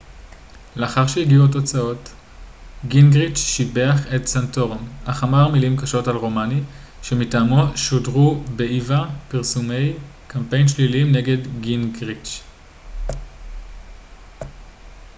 לאחר שהגיעו התוצאות גינגריץ' שיבח את סנטורום אך אמר מילים קשות על רומני שמטעמו שודרו באיווה פרסומי קמפיין שליליים נגד גינגריץ'